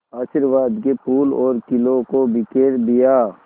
आशीर्वाद के फूलों और खीलों को बिखेर दिया